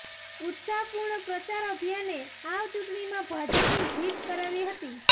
ઉત્સાહપૂર્ણ પ્રચાર અભિયાને આ ચૂંટણીમાં ભાજપની જીત કરાવી હતી